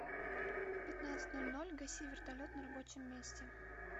в пятнадцать ноль ноль гаси вертолет на рабочем месте